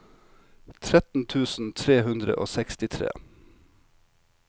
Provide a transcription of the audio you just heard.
tretten tusen tre hundre og sekstitre